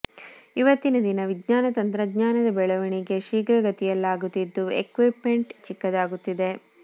ಇವತ್ತಿನ ದಿನ ವಿಜ್ಞಾನ ತಂತ್ರಜ್ಞಾನದ ಬೆಳವಣಿಗೆ ಶೀಘ್ರಗತಿಯಲ್ಲಾಗುತ್ತಿದ್ದು ಎಕ್ವಿಪ್ ಮೆಂಟ್ ಚಿಕ್ಕದಾಗುತ್ತಿವೆ